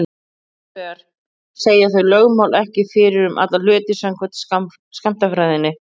Hins vegar segja þau lögmál ekki fyrir um alla hluti samkvæmt skammtafræðinni.